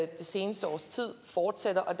det seneste års tid fortsætter og